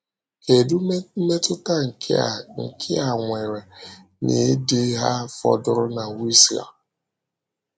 Kedu mmetụta nke a nke a nwere n’ịdị ha fọdụrụ na Wisła?